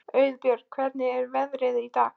Auðbjört, hvernig er veðrið í dag?